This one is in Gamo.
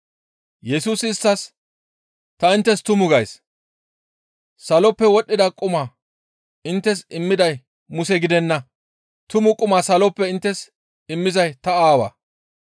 Yesusi isttas, «Ta inttes tumu gays; saloppe wodhdhida quma inttes immiday Muse gidenna. Tumu quma saloppe inttes immizay ta Aawaa.